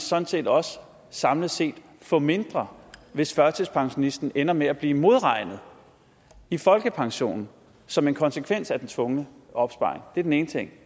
sådan set også samlet set få mindre hvis førtidspensionisten ender med at blive modregnet i folkepensionen som en konsekvens af den tvungne opsparing det er den ene ting